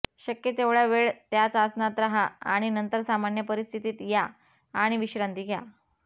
शक्य तेवढ्या वेळ याच आसनात राहा आणि नंतर सामान्य परिस्थितीत या आणि विश्रांती घ्या